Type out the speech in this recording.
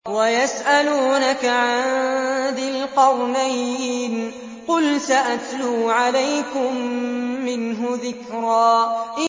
وَيَسْأَلُونَكَ عَن ذِي الْقَرْنَيْنِ ۖ قُلْ سَأَتْلُو عَلَيْكُم مِّنْهُ ذِكْرًا